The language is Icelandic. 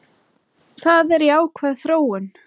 Það er jákvæð þróun.